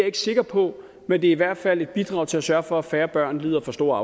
ikke sikker på men det er i hvert fald et bidrag til at sørge for at færre børn lider for store